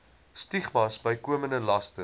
stigmas bykomende laste